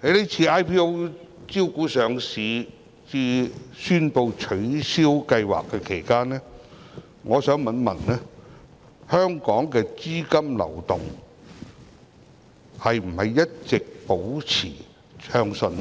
在這次 IPO 招股至宣布取消上市計劃期間，香港的資金流動是否一直保持暢順？